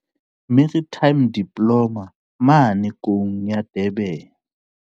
Maritime Diploma mane Koung ya Durban.